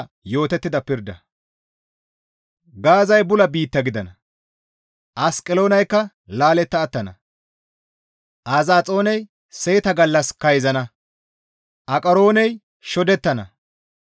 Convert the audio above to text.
Gaazay bula biitta gidana; Asqeloonaykka laaletta attana. Azaxooney seeta gallas kayzana. Aqarooney shodettana.